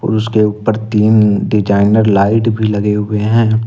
और उसके ऊपर तीन डिजाइनर लाइट भी लगे हुए हैं।